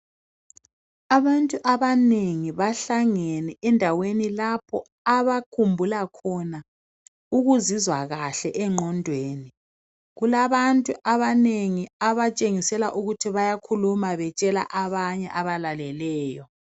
Abantu abanengi bahlangene endaweni lapho abakhumbula khona ukuzizwa kahle engqondweni. Kulabantu abanengi abatshengisela ukuthi bayakhuluma betshela abanye abalaleleyo.